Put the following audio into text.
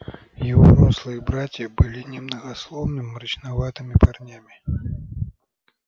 его рослые братья были немногословными мрачноватыми парнями